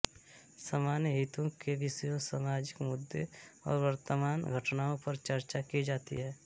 सामान्य हितों के विषयों सामाजिक मुद्दों और वर्तमान घटनाओं पर चर्चा की जाती है